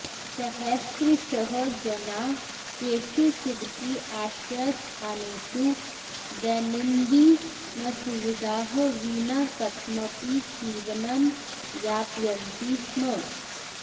सहस्त्रशः जनाः केषुचिदपि आश्रयस्थानेषु दैनन्दिनसुविधाः विना कथमपि जीवनं यापयन्ति स्म